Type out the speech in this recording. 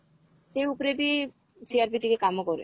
ସେଇ ଉପରେ ବି CRP ଟିକେ କାମ କରେ